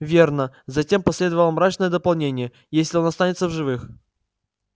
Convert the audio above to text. верно затем последовало мрачное дополнение если он останется в живых